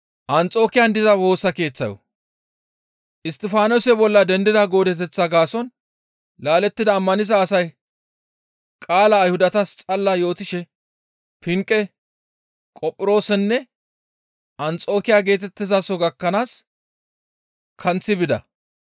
Isttifaanose bolla dendida goodeteththa gaason laalettida ammaniza asay qaalaa Ayhudatas xalala yootishe Pinqe, Qophiroosenne Anxokiya geetettizaso gakkanaas kanththi bida.